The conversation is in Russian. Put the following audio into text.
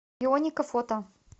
бионика фото